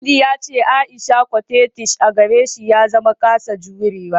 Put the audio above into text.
Audu ya ce Aisha coquettish a gare shi ya zama kasa jurewa